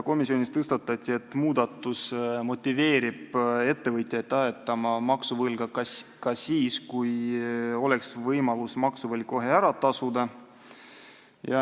Komisjonis tõstatati teema, et muudatus motiveerib ettevõtjaid ajatama maksuvõlga ka siis, kui oleks võimalus see kohe ära tasuda.